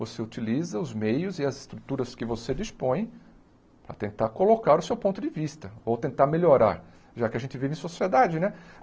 Você utiliza os meios e as estruturas que você dispõe para tentar colocar o seu ponto de vista ou tentar melhorar, já que a gente vive em sociedade, né?